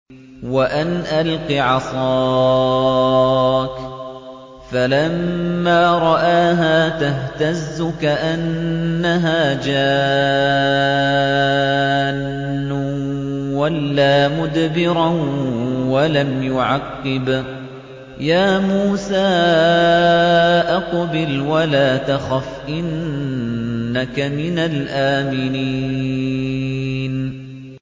وَأَنْ أَلْقِ عَصَاكَ ۖ فَلَمَّا رَآهَا تَهْتَزُّ كَأَنَّهَا جَانٌّ وَلَّىٰ مُدْبِرًا وَلَمْ يُعَقِّبْ ۚ يَا مُوسَىٰ أَقْبِلْ وَلَا تَخَفْ ۖ إِنَّكَ مِنَ الْآمِنِينَ